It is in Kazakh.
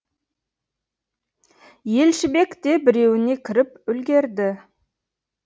елшібек те біреуіне кіріп үлгірді